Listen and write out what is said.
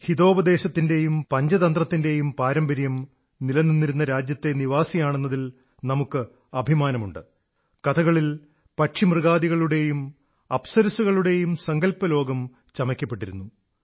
ഹിതോപദേശത്തിന്റെയും പഞ്ചതന്ത്രത്തിന്റെയും പാരമ്പര്യം നിലനിന്നിരുന്ന രാജ്യത്തെ നിവാസിയാണെന്നതിൽ നമുക്ക് അഭിമാനമുണ്ട് കഥകളിൽ പക്ഷിമൃഗാദികളുടെയും അപ്സരസ്സുകളുടെയും സങ്കല്പലോകം ചമയ്ക്കപ്പെട്ടിരുന്നു